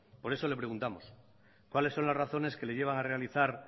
por eso le preguntamos cuáles son las razones que le llevan a realizar